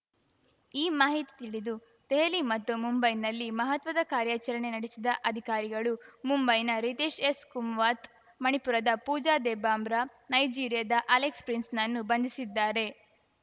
ಈ ಮಾಹಿತಿ ತಿಳಿದು ದೆಹಲಿ ಮತ್ತು ಮುಂಬೈನಲ್ಲಿ ಮಹತ್ವದ ಕಾರ್ಯಾಚರಣೆ ನಡೆಸಿದ ಅಧಿಕಾರಿಗಳು ಮುಂಬೈನ ರಿತೇಶ್‌ ಎಸ್‌ಕುಮ್ವಾತ್‌ ಮಣಿಪುರದ ಪೂಜಾ ದೆಬ್ಬಮ್ರಾ ನೈಜೀರಿಯಾದ ಅಲೆಕ್ಸ್‌ ಪ್ರಿನ್ಸ್‌ನನ್ನು ಬಂಧಿಸಿದ್ದಾರೆ